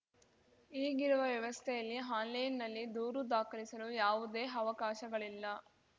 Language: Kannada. ಈಗಿರುವ ವ್ಯವಸ್ಥೆಯಲ್ಲಿ ಆನ್‌ಲೈನ್‌ನಲ್ಲಿ ದೂರು ದಾಖಲಿಸಲು ಯಾವುದೇ ಅವಕಾಶಗಳಿಲ್ಲ